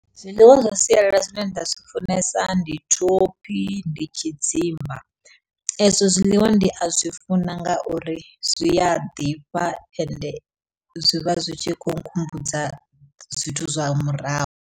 Zwiḽiwa zwa sialala zwine nda zwi funesa ndi thophi, ndi tshidzimba ezwo zwiḽiwa ndi a zwi funa nga uri zwia ḓifha ende zwi vha zwi tshi kho nkhumbudza zwithu zwa murahu.